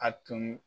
A tun